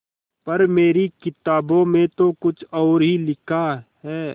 पर मेरी किताबों में तो कुछ और ही लिखा है